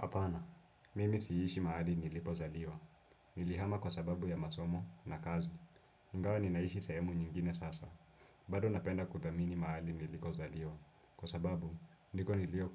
Hapana, mimi siishi mahali nilipozaliwa. Nilihama kwa sababu ya masomo na kazi. Ingawa ninaishi sehemu nyingine sasa. Bado napenda kuthamini mahali nilikozaliwa. Kwa sababu, ndiko